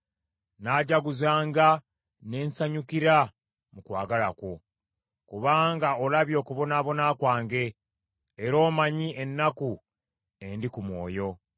Nnaajaguzanga ne nsanyukira mu kwagala kwo, kubanga olabye okubonaabona kwange era omanyi ennaku endi ku mwoyo.